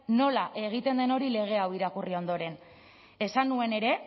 nola egiten den hori lege hau irakurri ondoren esan nuen ere